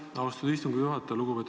Aitäh, austatud istungi juhataja!